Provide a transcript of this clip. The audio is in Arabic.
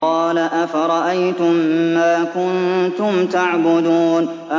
قَالَ أَفَرَأَيْتُم مَّا كُنتُمْ تَعْبُدُونَ